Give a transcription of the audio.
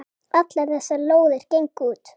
Allar þessar lóðir gengu út.